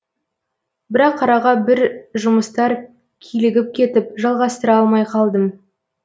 бірақ араға бір жұмыстар килігіп кетіп жалғастыра алмай қалдым